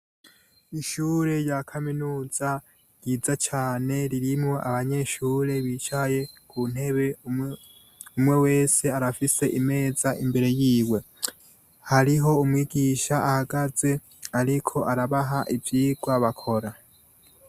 Icumba c' ishure rya kaminuza ryiza cane, ririmw' abanyeshure bicaye ku ntebe, umwe muribo, arahagaz' asankah' ari kubaz' ibibazo, inkingi n' ibihome vy' ishure bisiz' irangi ry'umuhondo.